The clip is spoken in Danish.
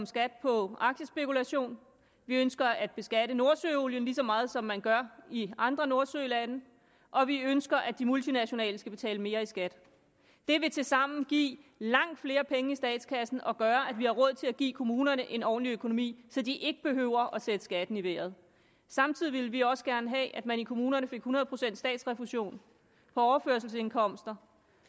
skat på aktiespekulation vi ønsker at beskatte nordsøolien lige så meget som man gør i andre nordsølande og vi ønsker at de multinationale selskaber skal betale mere i skat det vil tilsammen give langt flere penge i statskassen og gøre at vi har råd til at give kommunerne en ordentlig økonomi så de ikke behøver at sætte skatten i vejret samtidig ville vi også gerne have at man i kommunerne fik hundrede procent statsrefusion for overførselsindkomster